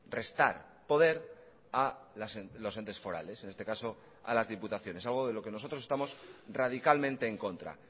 restar poder a los entes forales en este caso a las diputaciones algo de lo que nosotros estamos radicalmente en contra